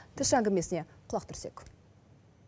тілші әңгімесіне құлақ түрсек